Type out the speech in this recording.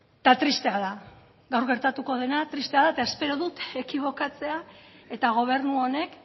eta tristea da gaur gertatuko dena tristea da eta espero dut ekibokatzea eta gobernu honek